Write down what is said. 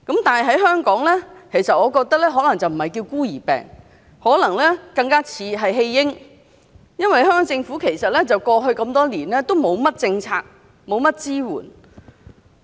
但是，我覺得在香港不應該叫"孤兒病"，更像"廢嬰"，因為香港政府過去這麼多年都沒有制訂甚麼政策，也沒有給予甚麼支援。